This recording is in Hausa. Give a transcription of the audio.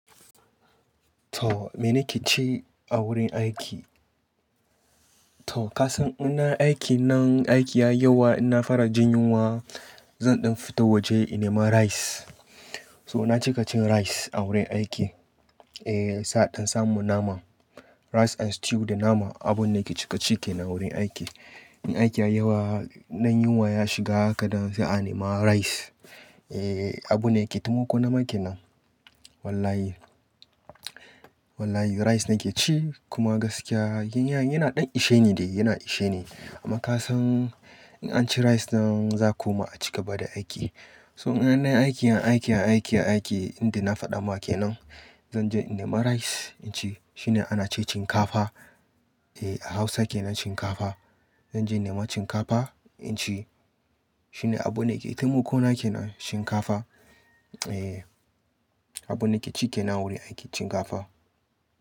To mene ke ci a wurin aiki? To ka san ina aiki na, aiki ya yiyawa ina fara jin yunwa. Zan ɗan fita waje in nema rice. So na cika cin rice a wurin aiki. Eh, sa'a dan samu naman rice and stew da nama abun nake cika ci ke na wurin aiki. In aiki ya yi ywa, na yinwa ya shiga haka dan zan nema rice. Eh, abun nake taimako na make nan. Wallahi, wallahi rice nake ci kuma gaskiya yana yin yana ɗan ishe ni dai, yana ishe ni. Amma ka san in an ci rice nan zaa ku ma a ci gaba da aiki. So idan ina aiki, ina aiki, ina aiki, ina aiki, inda na faɗa ma kenan zan je in nema rice in ci. Shine ana ce shinkafa. Eh, a Hausa ke nan shinkafa. Zan je nema shinkafa in ci. Shine abun nake taimako na ke nan shinkafa. Eh, abun nake ci ke na wurin aiki shinkafa.